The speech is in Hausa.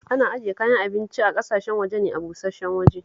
Ana ajiye kayan abincin ƙasashen waje ne a busash-shen waje